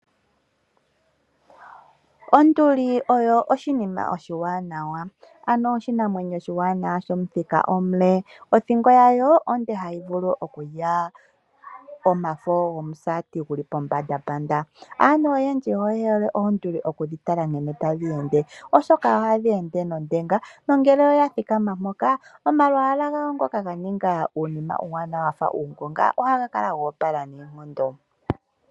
Onduli oyo oshinima oshiwanawa ano oshinamwenyo oshiwanawa shomuthika omule . Othingo yayo onde hayi vulu okulya omafo gomusaati geli pombanda. Aantu oyendji oyehole oonduli okudhi tala nkene tadhi ende ,oshoka ohadhi ende nondenga nongele oya thikama Omafo gomusaa nongele oya thikama mpoka omalwaala gayo ngoka ganinga uunima uuwanawa wafa uunonga ohaga kala go opala noonkondo.